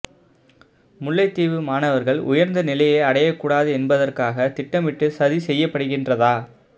முல்லைத்தீவு மணவர்கள் உயர்ந்த நிலையை அடையககூடாது என்பதற்காக திட்டமிட்டு சதி செய்யப்படுகின்றதா